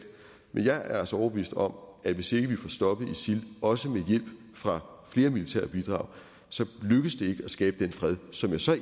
men jeg er altså overbevist om at hvis ikke vi får stoppet isil også med hjælp fra flere militære bidrag så lykkes det ikke at skabe den fred som jeg så er